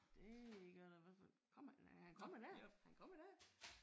Det gør det i hvert fald. Kommer han? Han kommer der. Han kommer der!